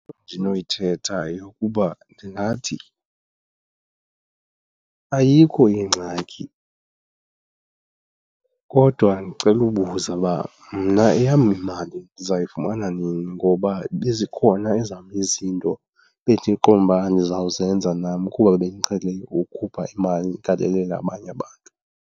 Into endinoyithetha yeyokuba ndingathi, ayikho ingxaki kodwa ndicela ubuza uba mna eyam imali ndizayifumana nini ngoba bezikhona ezam izinto bendiqonda uba ndizawuzenza nam kuba bendiqhele ukukhupha imali ndigalelele abanye abantu.